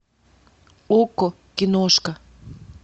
окко киношка